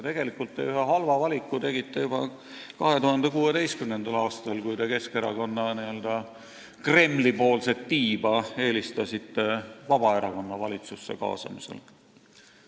Tegelikult te ühe halva valiku tegite juba 2016. aastal, kui te Keskerakonna n-ö Kremli-poolset tiiba eelistasite Vabaerakonna valitsusse kaasamisele.